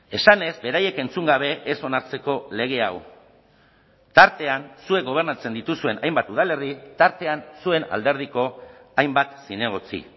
esanez beraiek entzun gabe ez onartzeko lege hau tartean zuek gobernatzen dituzuen hainbat udalerri tartean zuen alderdiko hainbat zinegotzi